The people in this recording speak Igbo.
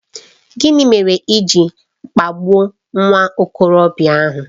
Gịnị mere i ji kpagbuo nwa okorobịa ahụ?